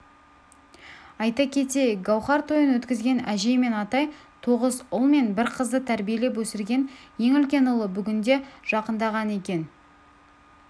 айта кетейік гауһар тойын өткізген әжей мен атай тоғыз ұл мен бір қызды тәрбиелеп өсірген ең үлкен ұлы бүгінде жақындаған екен